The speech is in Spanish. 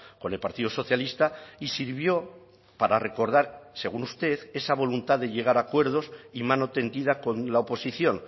con el partido socialista y sirvió para recordar según usted esa voluntad de llegar a acuerdos y mano tendida con la oposición